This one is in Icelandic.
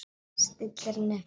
Stillir henni upp við vegg.